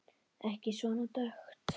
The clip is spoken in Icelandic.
Ekki svona dökkt.